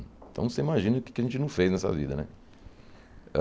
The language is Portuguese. Então, você imagina o que é que a gente não fez nessa vida, né?